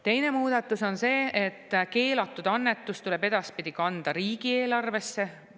Teine muudatus on see, et keelatud annetus tuleb edaspidi kanda riigieelarvesse.